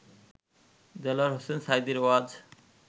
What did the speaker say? দেলোয়ার হোসেন সাঈদীর ওয়াজ